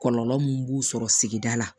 Kɔlɔlɔ mun b'u sɔrɔ sigida la